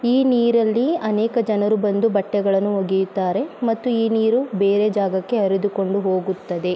ಈ ನೀರಲ್ಲಿ ಅನೇಕ ಜನರು ಬಂದು ಬಟ್ಟೆಗಳನ್ನು ಒಗೆಯುತ್ತಾರೆ ಮತ್ತು ಈ ನೀರು ಬೇರೆ ಜಾಗಕ್ಕೆ ಹರಿದುಕೊಂಡು ಹೋಗುತ್ತದೆ.